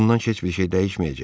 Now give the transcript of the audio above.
Bundan heç bir şey dəyişməyəcək.